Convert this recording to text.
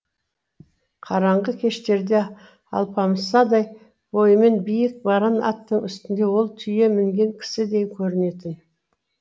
қараңғы кештерде алпамсадай бойымен биік баран аттың үстінде ол түйе мінген кісідей көрінетін